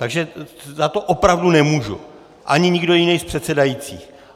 Takže za to opravdu nemůžu, ani nikdo jiný z předsedajících.